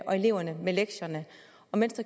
eleverne med lektierne